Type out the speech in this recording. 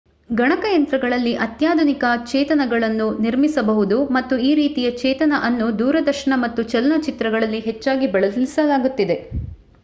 ಗಣಕಯಂತ್ರಗಳಲ್ಲಿ ಅತ್ಯಾಧುನಿಕ ಚೇತನಗಳನ್ನು ನಿರ್ಮಿಸಬಹುದು ಮತ್ತು ಈ ರೀತಿಯ ಚೇತನ ಅನ್ನು ದೂರದರ್ಶನ ಮತ್ತು ಚಲನಚಿತ್ರಗಳಲ್ಲಿ ಹೆಚ್ಚಾಗಿ ಬಳಸಲಾಗುತ್ತಿದೆ